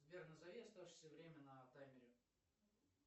сбер назови оставшиеся время на таймере